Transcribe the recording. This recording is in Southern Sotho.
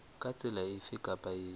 ka tsela efe kapa efe